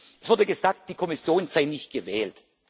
Es wurde gesagt, die Kommission sei nicht gewählt.